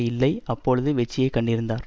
இல்லை அப்பொழுது வெற்றியை கண்டிருந்தார்